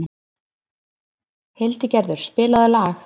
Hildigerður, spilaðu lag.